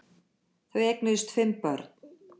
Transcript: Þau eignuðust fimm börn.